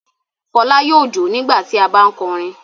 Fọlá yóò jó nígbà tí a bá ń kọrin.